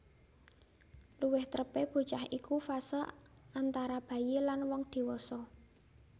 Luwih trepé bocah iku fase antara bayi lan wong diwasa